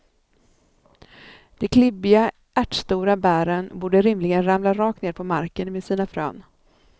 De klibbiga, ärtstora bären borde rimligen ramla rakt ner på marken med sina frön.